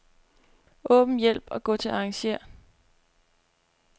Åbn hjælp og gå til arrangér.